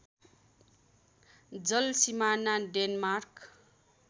जल सिमाना डेनमार्क